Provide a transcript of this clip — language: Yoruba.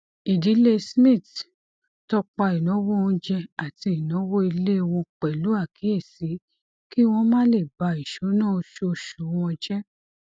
ìdílé smith tọpa ináwó onjẹ àti ináwó ilé wọn pẹlú àkíyèsí kí wọn má le bà ìsúná oṣooṣu wọn jẹ